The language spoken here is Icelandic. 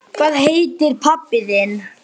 Hvað heitir pabbi þinn?